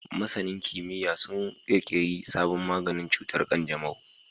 Masanin kimiyya sun kirkiri sabon maganin cutar kanjamau